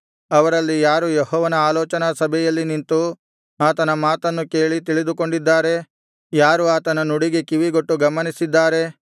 ಅವರಲ್ಲಿ ಯಾರು ಯೆಹೋವನ ಆಲೋಚನಾಸಭೆಯಲ್ಲಿ ನಿಂತು ಆತನ ಮಾತನ್ನು ಕೇಳಿ ತಿಳಿದುಕೊಂಡಿದ್ದಾರೆ ಯಾರು ಆತನ ನುಡಿಗೆ ಕಿವಿಗೊಟ್ಟು ಗಮನಿಸಿದ್ದಾರೆ